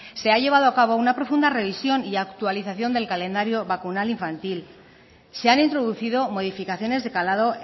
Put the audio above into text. se ha llevado a cabo una profunda revisión y actualización del calendario vacunal infantil se han introducido modificaciones de calado